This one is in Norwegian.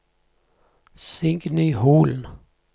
Signy Holen